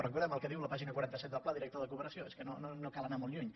recordem què diu la pàgina quaranta set del pla director de cooperació és que no cal anar molt lluny